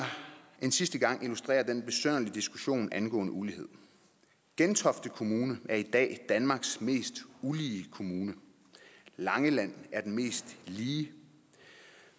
en sidste gang illustrere den besynderlige diskussion angående ulighed gentofte kommune er i dag danmarks mest ulige kommune langeland er den mest lige